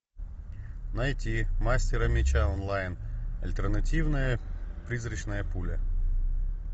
найти мастеры мяча онлайн альтернативная призрачная пуля